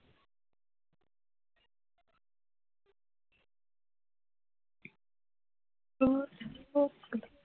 অ